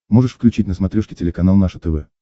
можешь включить на смотрешке телеканал наше тв